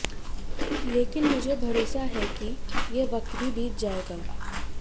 लेकिन मुझे भरोसा है कि ये वक्त भी बीत जाएगा